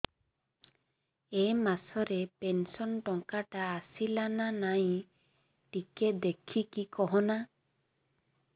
ଏ ମାସ ରେ ପେନସନ ଟଙ୍କା ଟା ଆସଲା ନା ନାଇଁ ଟିକେ ଦେଖିକି କହନା